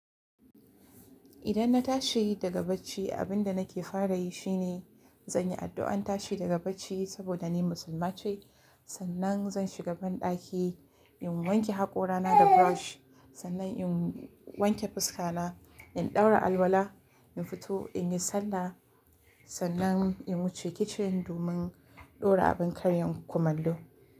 Idan na tashi daga bacci, abin da nake fara yi shi ne zan yi addu'ar tashi daga bacci saboda ni Musulma ce. Sannan zan shiga banɗaki, in wanke haƙora na da brush. Sannan in wanke fuska na, in ɗaura alwala, in fito in yi sallah. Sannan in wuce kitchen domin ɗora abin karyan kumallo.